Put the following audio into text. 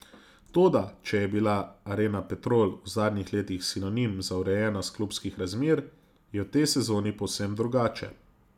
Toda če je bila arena Petrol v zadnjih letih sinonim za urejenost klubskih razmer, je v tej sezoni povsem drugače.